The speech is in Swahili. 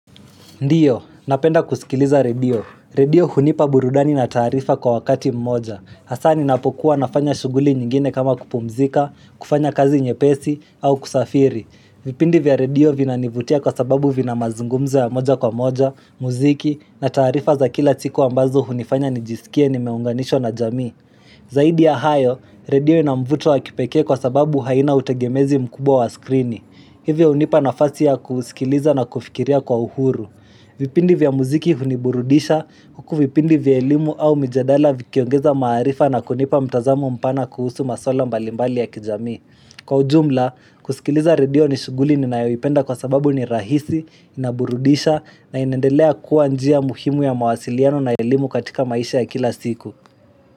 Ndio, napenda kusikiliza redio. Redio hunipa burudani na taarifa kwa wakati mmoja. Hasaa ninapokuwa nafanya shuguli nyingine kama kupumzika, kufanya kazi nyepesi, au kusafiri. Vipindi vya redio vina nivutia kwa sababu vina mazungumzo ya moja kwa moja, muziki, na taarifa za kila siku ambazo hunifanya nijisikie nimeunganishwa na jamii. Zaidi ya hayo, redio ina mvuto wa kipekee kwa sababu haina utegemezi mkubwa wa skrini. Hivyo hunipa nafasi ya kusikiliza na kufikiria kwa uhuru. Vipindi vya muziki huniburudisha kuku vipindi vya elimu au mijadala vikiongeza maarifa na kunipa mtazamo mpana kuhusu maswala mbalimbali ya kijamii. Kwa ujumla, kusikiliza redio ni shuguli ninayaipenda kwa sababu ni rahisi, inaburudisha na inendelea kuwa njia muhimu ya mawasiliano na elimu katika maisha ya kila siku.